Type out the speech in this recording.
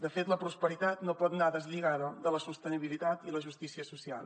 de fet la prosperitat no pot anar deslligada de la sostenibilitat i la justícia social